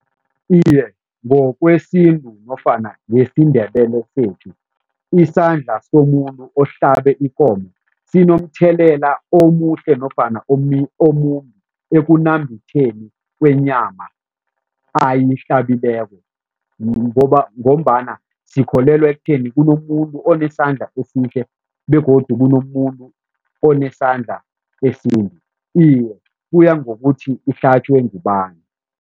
Iye, ngokwesintu nofana ngesiNdebele sethu isandla somuntu ohlalabe ikomo sinomthelela omuhle nofana omumbi ekunambitheni kwenyama ayihlabileko ngombana sikholelwe ekutheni kunomuntu onesandla esihle begodu kunomuntu onesandla esimbi. Iye, kuya ngokuthi ihlatjwe ngubani.